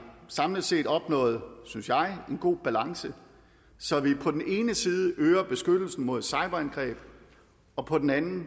samlet set opnået en synes jeg god balance så vi på den ene side øger beskyttelsen mod cyberangreb og på den anden